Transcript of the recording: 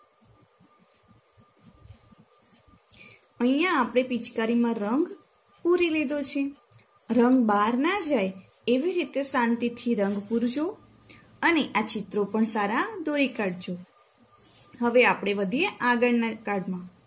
અહિયાં આપણે પિચકારીમાં રંગ પૂરી લીધો છે રંગ બાર ના જાય એવી રીતે શાંતિથી રંગ પુરજો અને આ ચિત્રો પણ જોઈ કાંડજો